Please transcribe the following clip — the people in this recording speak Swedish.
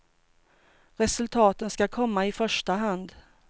Resultaten ska komma i första hand.